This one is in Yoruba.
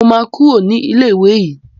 Mo máa Kúrò ní ilé ìwé yìí.